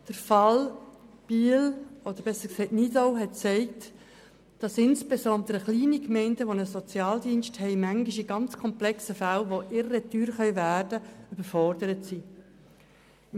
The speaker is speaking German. Der Fall Nidau hat gezeigt, dass insbesondere kleine Gemeinden mit einem Sozialdienst manchmal in sehr komplexen Fällen, die irre teuer werden können, überfordert sind.